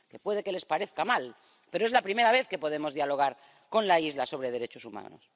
que puede que les parezca mal, pero es la primera vez que podemos dialogar con la isla sobre derechos humanos.